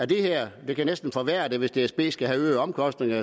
det her næsten forværre det for hvis dsb skal have øgede omkostninger